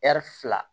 fila